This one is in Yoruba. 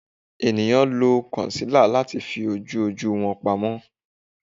Eniyan lo concealer lati fi oju oju wọn pamọ